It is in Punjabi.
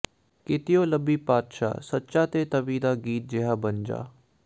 ਕਿਤਿਓਂ ਲੱਭੀਂ ਪਾਤਸ਼ਾਹ ਸੱਚਾ ਤੇ ਤਵੀ ਦਾ ਗੀਤ ਜੇਹਾ ਬਣ ਜਾ